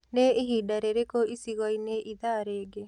ni ĩhĩnda rĩrĩkũ icigoini ĩthaa rĩngĩ